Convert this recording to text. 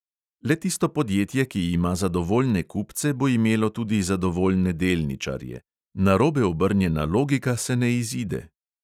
Le tisto podjetje, ki ima zadovoljne kupce, bo imelo tudi zadovoljne delničarje – narobe obrnjena logika se ne izide.